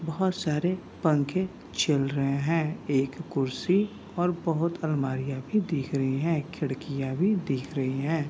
बहुत सारे पंखे चल रहें है। एक कुर्सी और बहुत अलमारिया भी दिख रही है। खिड़कियां भी दिख रही हैं।